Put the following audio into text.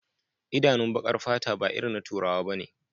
Idanun bakar fata ba irin na turawa bane